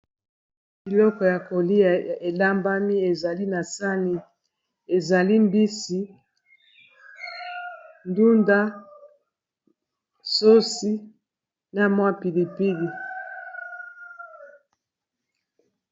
Biloko ya kolia elambami ezali na sani. Ezali mbisi, ndunda, sosi, na mwa pilipili.